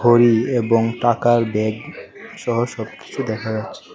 ঘড়ি এবং টাকার ব্যাগ সহ সবকিছু দেখা যাচ্ছে।